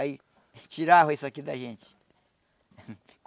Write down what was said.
Aí tirava isso aqui da gente.